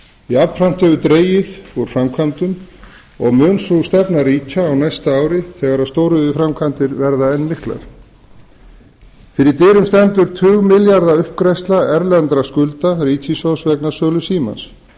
jafnframt hefur verið dregið úr framkvæmdum og mun sú stefna ríkja á næsta ári þegar stóriðjuframkvæmdir verða enn miklar fyrir dyrum stendur tugmilljarða uppgreiðsla erlendra skulda ríkissjóðs vegna sölu símans